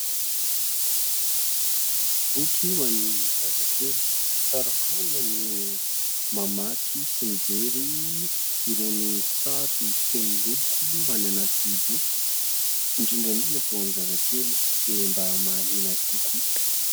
Boky ho an'ny zazakely. Tsara foana ny mamaky sy mijery irony sary feno loko any anaty boky, indrindra indrindra ho an'ny zazakely dia mba mahaliana azy kokoa.